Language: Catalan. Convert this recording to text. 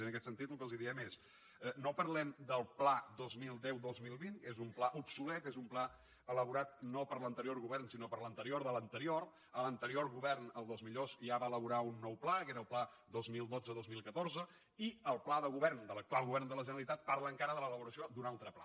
i en aquest sentit el que els diem és no parlem del pla dos mil deu dos mil vint és un pla obsolet és un pla elaborat no per l’anterior govern sinó per l’anterior de l’anterior l’anterior govern el dels millors ja va elaborar un nou pla que era el pla dos mil dotze dos mil catorze i el pla de govern de l’actual govern de la generalitat parla encara de l’elaboració d’un altre pla